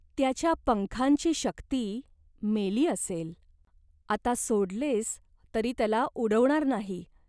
त्याच्या पंखांची शक्ती मेली असेल. आता सोडलेस तरी त्याला उडवणार नाही.